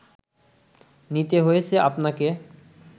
নিতে হয়েছে আপনাকে